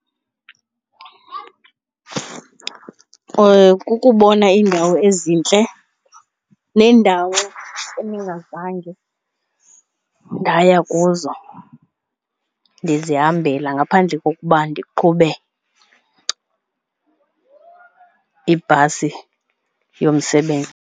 Kukubona iindawo ezintle nendawo endingazange ndaya kuzo ndizihambela, ngaphandle kokuba ndiqhube ibhasi yomsebenzi.